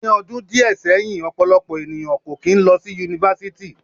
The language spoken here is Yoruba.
Ni ọdun diẹ sẹhin, ọpọlọpọ eniyan ko kin lọ si Yunifásítì